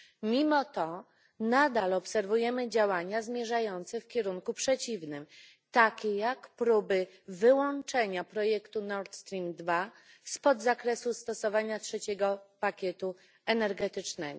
Mimo to nadal obserwujemy działania zmierzające w kierunku przeciwnym, takie jak próby wyłączenia projektu Nord Stream 2 z zakresu stosowania trzeciego pakietu energetycznego.